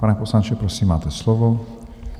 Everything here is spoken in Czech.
Pane poslanče, prosím, máte slovo.